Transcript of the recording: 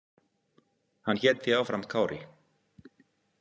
Hann hét því áfram Kári.